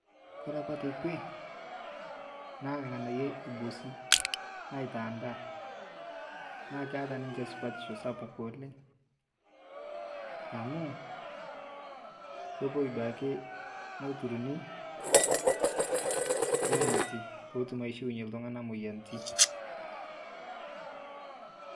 Ore apa tekwe naa ing'anayio eibusi aitaa ndaa naa keeta nishe supatisho sapuk oleng amu kipoi doi ake naturuni nemati pee etum aishiwuyie iltung'anak moyiaritin